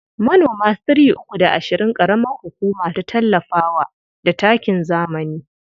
Manoma three uku da ashirin ƙaramar hukuma ta tallafa wa da takin zamani.